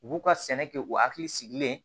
U b'u ka sɛnɛ kɛ u hakili sigilen